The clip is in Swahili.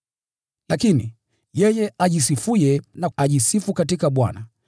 Lakini, “Yeye ajisifuye na ajisifu katika Bwana.”